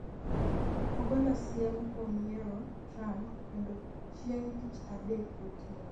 ogolo siem kuom yero Trump kendo chieng' tich adek gotieno